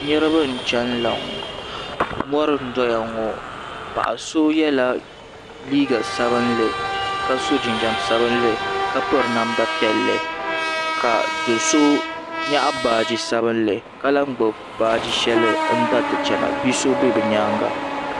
Niriba n-chanila ŋɔ mɔri n-doya ŋɔ paɣa so yela liiga sabinli ka so jinjam sabinli ka piri namda piɛlli ka do'so nyaɣi baaji sabinli ka lan gbubi baaji shɛli n-dariti chana bi'so be bɛ nyaaŋa.